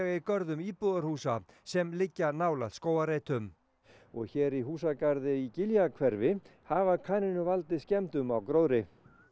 í görðum íbúðarhúsa sem liggja nálægt skógarreitum og hér í húsagarði í Giljahverfi hafa kanínur valdið skemmdum á gróðri